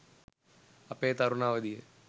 අපේ තරුණ අවධිය